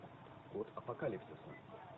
код апокалипсиса